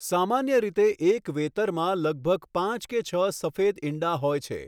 સામાન્ય રીતે એક વેતરમાં લગભગ પાંચ કે છ સફેદ ઇંડા હોય છે.